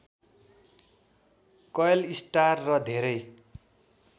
कैल star र धेरै